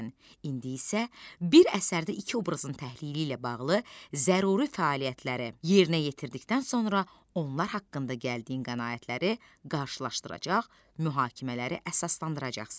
İndi isə bir əsərdə iki obrazın təhlili ilə bağlı zəruri fəaliyyətləri yerinə yetirdikdən sonra onlar haqqında gəldiyin qənaətləri qarşılaşdıracaq, mühakimələri əsaslandıracaqsan.